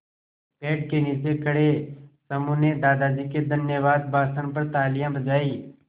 पेड़ के नीचे खड़े समूह ने दादाजी के धन्यवाद भाषण पर तालियाँ बजाईं